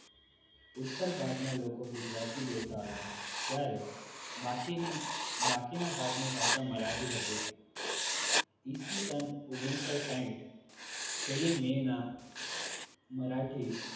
ઉત્તર ભારતના લોકો ગુજરાતી બોલતા હતા જ્યારે બાકીની બાકીના ભાગ ની ભાષા મરાઠી હતી ઈસવીસન ઓગણીસો સાહિઠ પહેલી મે ના મરાઠી